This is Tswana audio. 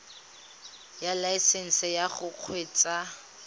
ya laesesnse ya go kgweetsa